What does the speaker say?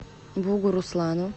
бугуруслану